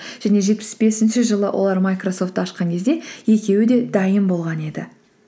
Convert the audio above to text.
және жетпіс бесінші жылы олар майкрасофтты ашқан кезде екеуі де дайын болған еді